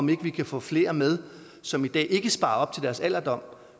vi kan få flere med som i dag ikke sparer op til deres alderdom